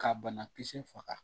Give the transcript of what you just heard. Ka banakisɛ faga